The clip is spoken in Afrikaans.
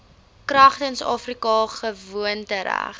kragtens afrika gewoontereg